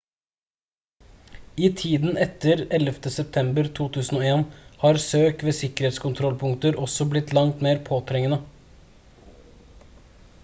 i tiden etter 11. september 2001 har søk ved sikkerhetskontrollpunkter også blitt langt mer påtrengende